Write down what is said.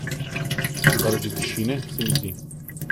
Zaradi tišine, se mi zdi.